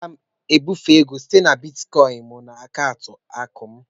M ga-ebufe ego site na bịtịkoin m na akaụntụ akụ m.